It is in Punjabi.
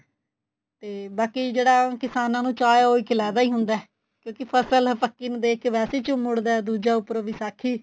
ਤੇ ਬਾਕੀ ਜਿਹੜਾ ਕਿਸਾਨਾ ਨੂੰ ਚਾ ਏ ਉਹ ਇੱਕ ਲੈਦਾ ਈ ਹੁੰਦਾ ਕਿਉਂਕਿ ਫਸਲ ਪੱਕੀ ਨੂੰ ਦੇਖ ਕੇ ਵੈਸੇ ਹੀ ਝੁੰਮ ਉਠਦਾ ਦੂਜਾ ਉੱਪਰੋ ਵਿਸਾਖੀ